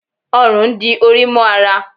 òrùn n dí Ori mo ará